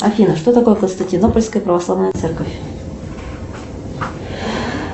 афина что такое константинопольская православная церковь